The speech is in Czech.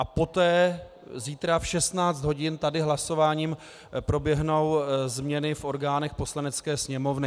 A poté zítra v 16 hodin tady hlasováním proběhnou změny v orgánech Poslanecké sněmovny.